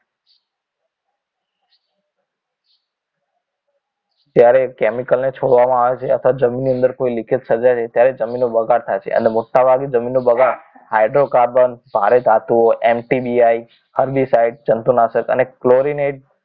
ત્યારે chemical ને છોડવામાં આવે છે અથવા જમીનની અંદર કોઈ leakage સર્જાય ત્યારે જમીનનો બગાડ થાય છે અને મોટાભાગે જમીન નો બગાડ hydrocarbon ભારે ધાતુઓ NCBI અન્ય સાઇટ જંતુનાશક અને chlorinate